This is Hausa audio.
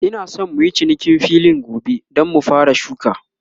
Ina San muyi cinikin filin gobe, Dan mu fara shuka